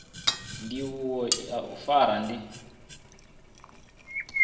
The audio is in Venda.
ndivho ya u fara ndi